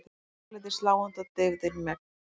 Þunglyndið sláandi og deyfðin megn.